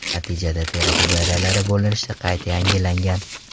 Natijada teri hujayralari bo‘linishi qayta yangilangan.